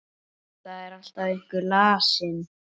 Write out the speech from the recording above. Það er alltaf einhver lasin.